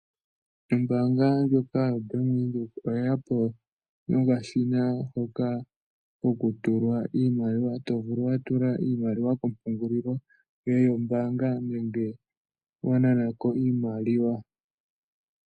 Ombaanga ndjoka yoBank Windhoek oye ya po nomashina ngoka goku tulwa iimaliwa, to vulu wa tula iimaliwa kompungulilo yoye yombaanga nenge wa nana ko iimaliwa.